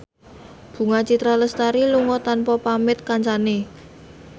Bunga Citra Lestari lunga tanpa pamit kancane